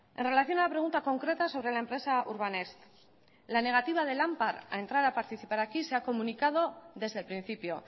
en relación a la pregunta concreta sobre la empresa urbanext la negativa de lampar a entrar a participar aquí se ha comunicado desde el principio